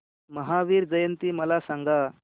महावीर जयंती मला सांगा